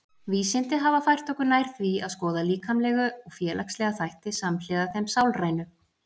Vísindi hafa fært okkur nær því að skoða líkamlega og félagslega þætti samhliða þeim sálrænu.